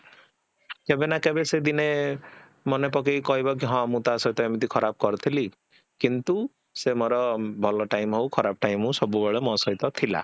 କେଭେ ନା କେଭେ ସେ ଦିନେ ମନେ ପକେଇକି କହିବି କି ହଁ ମୁଁ ତା ସହିତ ଏମିତି ଖରାପ କରିଥିଲି କିନ୍ତୁ ସେ ମୋର ଭଲ time ହଉ ଖରାପ time ହଉ ସବୁ ବେଳେ ମୋ ସହିତ ଥିଲା